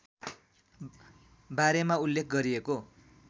बारेमा उल्लेख गरिएको